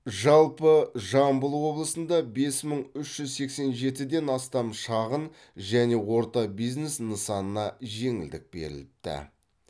жалпы жамбыл облысында бес мың үш жүз сексен жетіден астам шағын және орта бизнес нысанына жеңілдік беріліпті